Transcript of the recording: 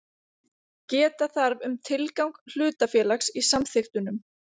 Geta þarf um tilgang hlutafélags í samþykktunum.